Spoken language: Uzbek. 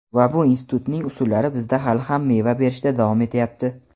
Va bu "institut"ning usullari bizda hali ham meva berishda davom etayapti.